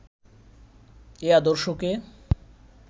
এই আদর্শকে